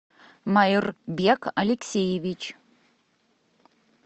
маирбек алексеевич